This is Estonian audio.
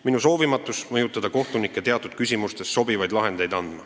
Minu soovimatus mõjutada kohtunikke, et teatud küsimustes tekiksid sobivad lahendid.